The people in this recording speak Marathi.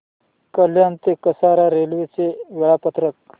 कल्याण ते कसारा रेल्वे चे वेळापत्रक